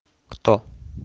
кто